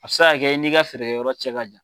A bɛ se ka i n'i ka feere yɔrɔ cɛ ma jan